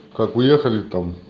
как уехали там